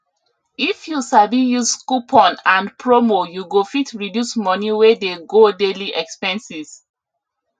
if you sabi use coupon and promo you go fit reduce money wey dey go daily expenses